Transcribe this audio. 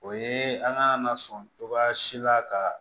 O ye an ka lasun cogoya si la ka